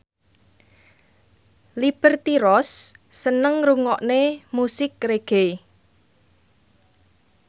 Liberty Ross seneng ngrungokne musik reggae